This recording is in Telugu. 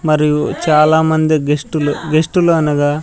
మరియు చాలామంది గెస్టులు గెస్టులు అనగా --